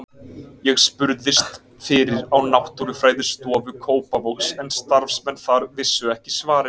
Ég spurðist fyrir á Náttúrufræðistofu Kópavogs en starfsmenn þar vissu ekki svarið.